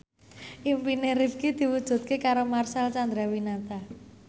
impine Rifqi diwujudke karo Marcel Chandrawinata